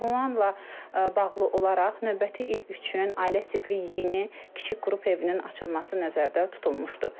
Və bunlarla bağlı olaraq növbəti il üçün ailə tipli yeni kiçik qrup evinin açılması nəzərdə tutulmuşdu.